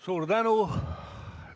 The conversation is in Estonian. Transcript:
Suur tänu!